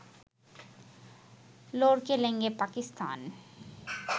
লড়কে লেঙ্গে পাকিস্তান